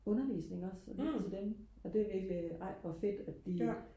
undervisning også og lytte til dem og det er virkelig ej hvor fedt at de